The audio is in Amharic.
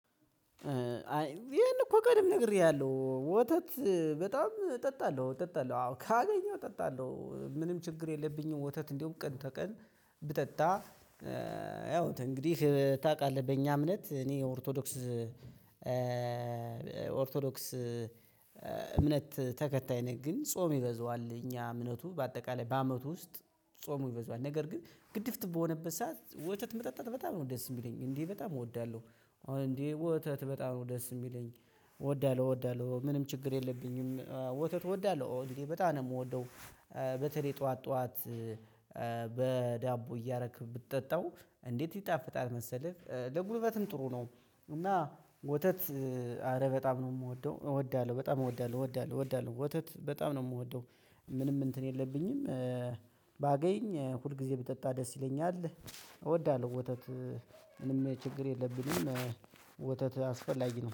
አይ ይሄን እኮ ቀድሜ ነግሬያለሁ። ወተት በጣም እጠጣለሁ እጠጣለሁ አዎ ካገኘው እጠጣለሁ ምንም ችግር የለብኝም ወተት እንደውም ቀን ተቀን ብጠጣ ያው ተእንግዲህ ታውቃህ በእኛ እምነት እኔ ኦርቶዶክስ ኦርቶዶክስ እምነት ተከታይ ነኝ ግን ጾም ይበዛዋል እኛ እምነቱ በአጠቃላይ በአመቱ ውስጥ ጾሙ ይበዛዋል ነገር ግን ግድፍት በሆነበት ሰዓት ወተት መጠጣት በጣም ነው ደስ የሚለኝ እንዴ በጣም እወዳለሁ እንዴ ወተት በጣም ነው የሚለኝ እወዳለሁ እወዳለሁ ምንም ችግር የለብኝም። ያው ተእንግዲህ ታውቃህ በእኛ እምነት እኔ ኦርቶዶክስ በተለይ ጠዋት ጠዋት በዳቦ እያረክ ብትጠጣው እንዴት ይጣፍጣል መሰለህ ለጉልበትም ጥሩ ነው እና ወተት አረ በጣም ነው የምወደው እወዳለሁ በጣም እወዳለሁ እወዳለሁ ወተት በጣም ነው የምወደው ምንም እንትን የለብኝም ባገኝ ሁል ጊዜ ብጠጣ ደስ ይለኛል እወዳለሁ ወተት ምንም ችግር የለብንም ወተት አስፈላጊ ነው